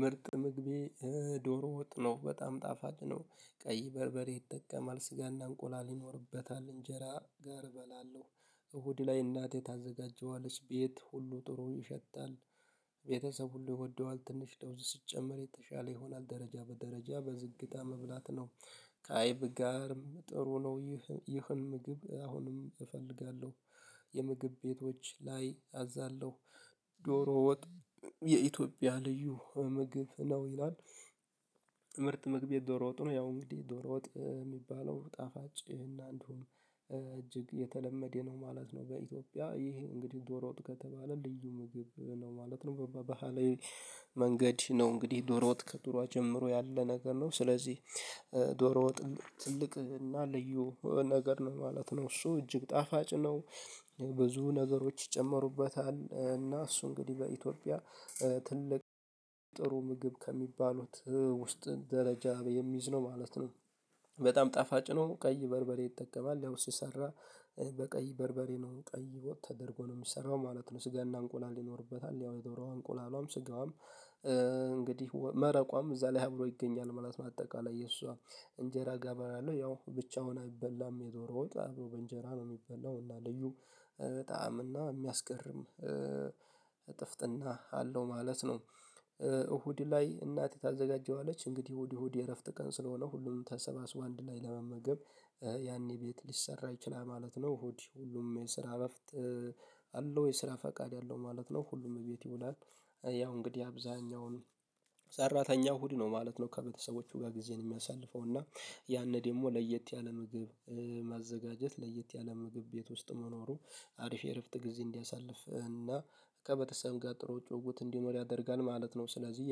ምርጥ ምግቤ ዶሮ ወጥ ነው በጣም ጣፋጭ ነው ቀይ በርበሬ ይጠቀማል ስጋና እንቁላል ይኖርበታል እንጀራ ጋር እበላለሁ። እሁድ ላይ እናቴ ታዘጋጀዋለች ቤት ሁሉ ጥሩ ይሸታል። ቤተሰብ ሁሉ ይወደዋል ትንሽ ለውዝ ስትጨምር የተሻለ ይሆናል ደረጃ በደረጃ በዝግታ መብላት ነው። ከአይብ ጋርም ጥሩ ነው ይህን ምግብ አሁንም እፈልጋለሁ። የምግብ ቤቶች ላይ አዛለሁ። ዶሮ ወጥ የኢትዮጵያ ልዩ ምግብ ነው ይሏል። መግቢያ ዶሮ ወጥ ነው ያው እንግዲህ ዶሮ ወጥ የሚባለው ጣፋጭ ይሄን አንዱን እጅግ የተለመደ ነው ማለት ነው። በኢትዮጵያ ይሄ ይህ እንግዲህ ዶሮጥ ከተባለ ልዩ ምግብ ነው ማለት ነው። በባህሌ መንገድ ነው እንግዲህ ዶሮ ወጥ ከዱሯ ጀምሮ ያለ ነገር ነው። ስለዚህ ዶሮ ወጥ ትልቅ እና ልዩ ነገር ነው ማለት ነው። እሱ እጅግ ጣፋጭ ነው። ብዙ ነገሮች ይጨምሩበታል እና እሱ እንግዲህ በኢትዮጵያ ትልቅ ጥሩ ምግብ ከሚባሉት ውስጥ ደረጃ የሚይዝ ነው ማለት ነው። በጣም ጣፋጭ ነው ቀይ በርበሬ ይጠቀማል ያው ሲሰራ በቀይ በርበሬ ነው ቀይ ወጥ ተደርጎ ነው የሚሰራው ማለት ነው። ስጋና እንቁላል ይኖርበታል ያው የዶሮዋ እንቁላሏም ስጋዋም። እንግዲህ መረቋም እዛ ላይ አብሮ ይገኛል ማለት ነው። አጠቃላይ የእሷ እንጀራ ጋር በላለሁ ያው ብቻውን አይበላም የዶሮ ወጥ በእንጀራ ነው የሚበላው እና ልዩ ጣዕም እና የሚያስገርም እጥፍጥና አለው ማለት ነው። እሁድ ላይ እናት ታዘጋጀዋለች እንግዲህ እሁድ እሁድ የእረፍት ቀን ስለሆነ ሁሉም ተሰባስቧ አንድ ላይ ለመመገብ። ያኔ ቤት ሊሰራ ይችላል ማለት ነው። እሁድ ሁሉም የስራ እረፍት። የስራ ፈቃድ ያለው ማለት ነው ሁሉም ቤት ይውላል። ያው እንግዲህ አብዛኛው ሰራተኛው እሁድ ነው ማለት ነው ከቤተሰቦቹ ጋር ጊዜን የሚያሳልፈው እና። ያኔ ደግሞ ለየት ያለ ምግብ ማዘጋጀት ለየት ያለ ምግብ ቤት ውስጥ መኖሩ። አሪፍ የእረፍት ጊዜ እንዲያሳልፍ እና ከበተሰብ ጋር ጥሩ ጭውውት እንዲኖር ያደርጋል ማለት ነው። ስለዚህ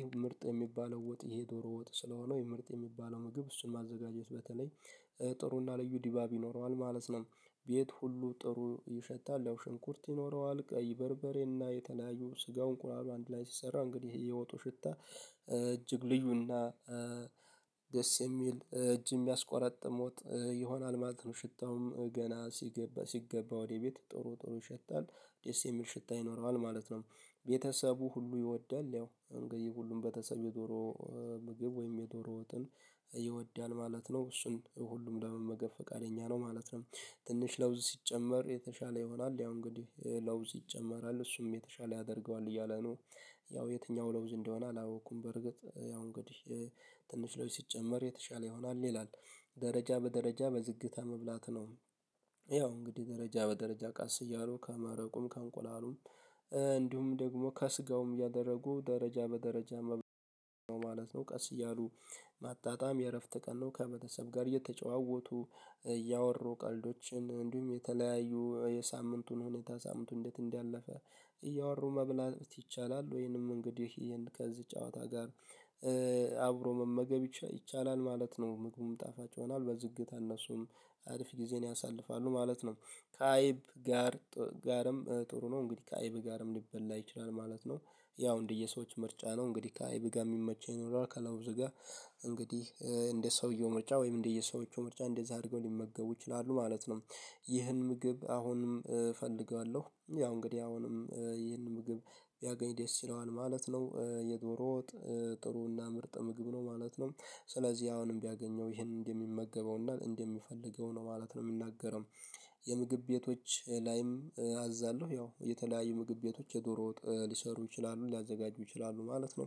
ይሄ ምርጥ የሚባለው ወጥ ይሄ ዶሮ ወጥ ስለሆነው ይሄ ምርጥ የሚባለው ምግብ እሱን ማዘጋጀት በተለይ። ጥሩና ልዩ ዲባብ ይኖረዋል ማለት ነው። ቤት ሁሉ ጥሩ ይሸታል ያው ሽንኩርት ይኖረዋል ቀይ በርበሬና የተለያዩ ስጋው እንቁላሉ አንድ ላይ ሲሰራ እንግዲህ የወጡ ሽታ እጅግ ልዩና። ደስ የሚል እጅ የሚያስቆረጥሞት ይሆናል ማለት ነው። ሽታውም ገና ሲገባ ሲገባ ወደ ቤት ጥሩ ጥሩ ይሸታል። ደስ የሚል ሽታ ይኖረዋል ማለት ነው። ቤተሰቡ ሁሉ ይወዳል ያው አንገይ ሁሉም ቤተሰብ የዶሮ ምግብ ወይም የዶሮ ወጥን ይወዳል ማለት ነው እሱን ሁሉም ለመመገብ ፍቃደኛ ነው ማለት ነው። ትንሽ ለውዝ ሲጨመር የተሻለ ይሆናል ያው እንግዲህ ለውዝ ይጨመራል እሱም የተሻለ ያደርገዋል እያለ ነው። ያው የትኛው ለውዝ እንደሆነ አላወኩም በርግጥ ያው እንግዲህ ትንሽ ለውዝ ሲጨመር የተሻለ ይሆናል ይላል። ደረጃ በደረጃ በዝግታ መብላት ነው። ያው እንግዲህ ደረጃ በደረጃ ቃስ እያሉ ከማረቁም ከእንቁላሉም እንዲሁም ደግሞ ከስጋውም ያደረጉ ደረጃ በደረጃ መብራት ነው ማለት ነው። ቀስ እያሉ ማጣጣም የእረፍት ቀን ነው ከበተሰብ ጋር የተጨዋወቱ። እያወሩ ቀልዶችን እንዲሁም የተለያዩ የሳምንቱን ሁኔታ ሳምንቱ እንዴት እንዳለፈ እያወሩ መብላት ይቻላል። ወይንም እንግዲህ ከዚህ ጨዋታ ጋር። አብሮ መመገብ ይች ይቻላል ማለት ነው። ምግቡም ጣፋጭ ሆኗል በዝግታ እነሱም አሪፍ ጊዜን ያሳልፋሉ ማለት ነው። ከአይብ ጋር ጋርም ጥሩ ነው እንግዲህ ከአይብ ጋርም ሊበላ ይችላል ማለት ነው። ያው እንደየሰዎች ምርጫ ነው እንግዲህ ከአይብ ጋር የሚመቸኝ ይኖራል ከላውዝ ጋር። እንግዲህ እንደ ሰውየው ምርጫ ወይም እንደየሰዎቹ ምርጫ እንደዛ አድርገው ሊመገቡ ይችላሉ ማለት ነው። ይህን ምግብ አሁንም እፈልገዋለሁ ያው እንግዲህ አሁንም ይህንን ምግብ ቢያገኝ ደስ ይለዋል ማለት ነው የዶሮ ወጥ ጥሩና ምርጥ ምግብ ነው ማለት ነው። ስለዚህ አሁንም ቢያገኘው ይሄንን እንደሚመገበው እንደምፈልገው ነው ማለት ነው የምንናገረው። የምግብ ቤቶች ላይም አዛለሁ ያው የተለያዩ ምግብ ቤቶች የዶሮ ዎጥ ሊሰሩ ይችላሉ ሊያዘጋጁ ይችላሉ ማለት ነው።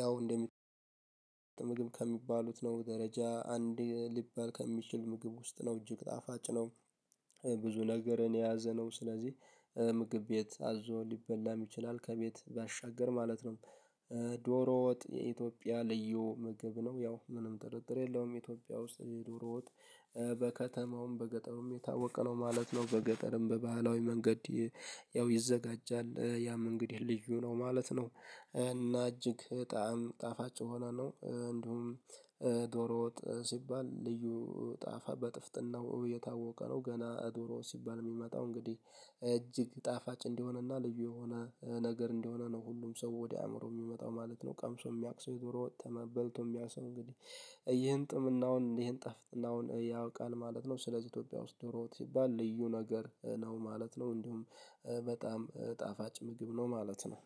ያው እንደሚ ምግብ ከሚባሉት ነው ደረጃ አንድ ሊባል ከሚችል ምግብ ውስጥ ነው እጅግ ጣፋጭ ነው። ብዙ ነገርን የያዘ ነው ስለዚህ ምግብ ቤት አዞ ሊበላም ይችላል ከቤት ባሻገር ማለት ነው። ዶሮ ወጥ የኢትዮጵያ ልዩ ምግብ ነው ያው ምንም ጥርጥር የለውም ኢትዮጵያ ውስጥ የዱሮዎጥ። በከተማውም በገጠሩም የታወቀ ነው ማለት ነው በገጠርም በባህላዊ መንገድ። ያው ይዘጋጃል ያም እንግዲህ ልዩ ነው ማለት ነው። እና እጅግ ጣዕም ጣፋጭ የሆነ ነው እንዲሁም። ዶሮ ወጥ ሲባል ልዩ ጣፋ በጥፍጥናው የታወቀ ነው ገና ዶሮ ሲባል የሚመጣው እንግዲህ እጅግ ጣፋጭ እንዲሆነና ልዩ የሆነ ነገር እንዲሆነ ነው ሁሉም ሰው ወደ አእምሮ የሚመጣው ማለት ነው። ቀምሶ የሚያውቅ ሰው የዱሮ ወጥ በልቶ የሚያቅሰ እንግዲህ። ይህን ጥምናውን ይህን ጠፍጥናውን ያውቃል ማለት ነው። ስለዚህ ኢትዮጵያ ውስጥ ደሮዎጥ ሲባል ልዩ ነገር ነው ማለት ነው። እንዲሁም በጣም ጣፋጭ ምግብ ነው ማለት ነው።